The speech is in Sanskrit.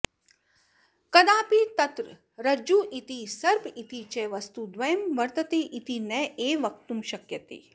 कदापि तत्र रज्जुरिति सर्प इति च वस्तुद्वयं वर्तते इति नैव वक्तुं शक्यते